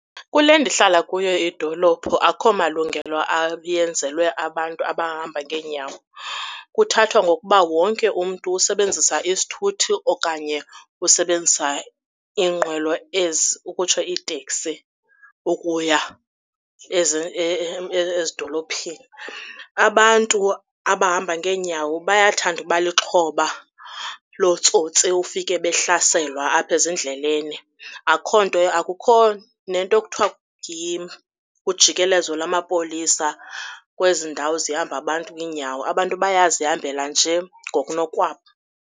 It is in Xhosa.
Kule ndihlala kuyo idolophu akukho malungelo ayenzelwe abantu abahamba ngeenyawo. Kuthathwa ngokuba wonke umntu usebenzisa isithuthi okanye usebenzisa iinqwelo ezi ukutsho iiteksi ukuya ezidolophini. Abantu abahamba ngeenyawo bayathanda uba lixhoba lootsotsi ufike behlaselwa apha ezindleleni. Akukho nto, akukho nento ekuthiwa lujikelezo lamapolisa kwezi ndawo zihamba abantu ngeenyawo. Abantu bayazihambela nje ngokunokwabo.